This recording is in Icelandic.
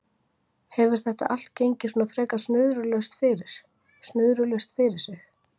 Hefur þetta allt gengið svona frekar snuðrulaust fyrir, snuðrulaust fyrir sig?